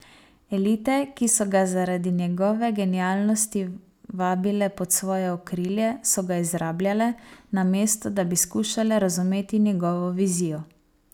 Elite, ki so ga zaradi njegove genialnosti vabile pod svoje okrilje, so ga izrabljale, namesto da bi skušale razumeti njegovo vizijo.